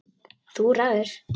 Þú ræður!